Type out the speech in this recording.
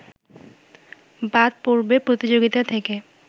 বাদ পড়বে প্রতিযোগিতা থেকে